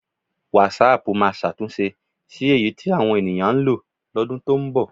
Wásáaàpù máa ṣàtúnṣe sí eyi tí àwọn ènìyàn ń lo lọ́dún tó ń bọ̀.